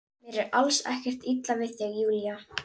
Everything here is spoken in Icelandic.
Mér er alls ekkert illa við þig Júlía.